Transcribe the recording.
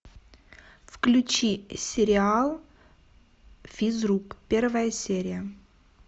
включи сериал физрук первая серия